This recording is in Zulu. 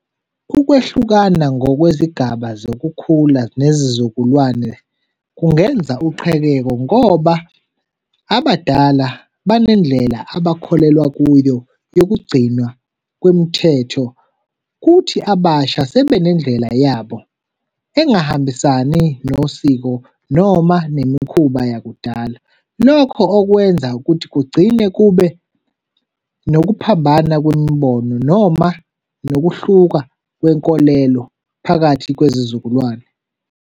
Ukwehlukana ngokwezigaba zokukhula nezizukulwane kungenza uqhekeko, ngoba abadala banendlela abakholelwa kuyo yokugcinwa kwemithetho, kuthi abasha sebenendlela yabo, engahambisani nosiko noma nemikhuba yakudala. Lokho okwenza ukuthi kugcine kube nokuphambana kwimibono noma nokuhluka kwenkolelo phakathi kwezizukulwane.